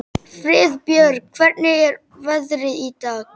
Friðbjörg, hvernig er veðrið í dag?